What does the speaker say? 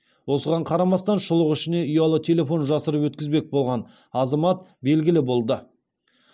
осыған қарамастан шұлық ішіне ұялы телефон жасырып өткізбек болған азамат белгілі болды